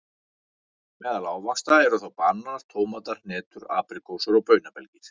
Meðal ávaxta eru þá bananar, tómatar, hnetur, apríkósur og baunabelgir.